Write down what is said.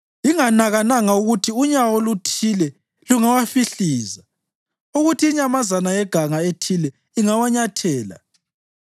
inganakananga ukuthi unyawo oluthile lungawahlifiza, ukuthi inyamazana yeganga ethile ingawanyathela.